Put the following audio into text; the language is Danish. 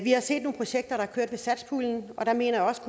har set nogle projekter der kørte over satspuljen og der mener jeg også